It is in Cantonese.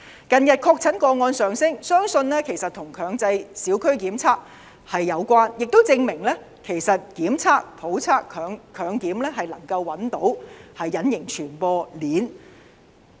近日確診個案上升，相信跟強制小區檢測有關，亦證明檢測、普測和強檢，能夠找出隱形傳播鏈。